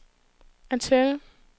antenne